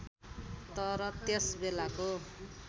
तर त्यस बेलाको